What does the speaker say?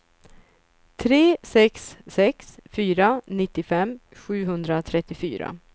tre sex sex fyra nittiofem sjuhundratrettiofyra